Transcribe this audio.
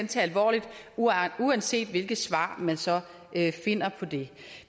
tage alvorligt uanset hvilket svar man så finder på det